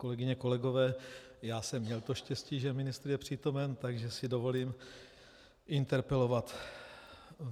Kolegyně, kolegové, já jsem měl to štěstí, že ministr je přítomen, takže si dovolím interpelovat.